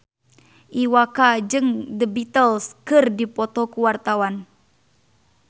Iwa K jeung The Beatles keur dipoto ku wartawan